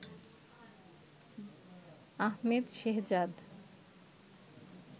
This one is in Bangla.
আহমেদ শেহজাদ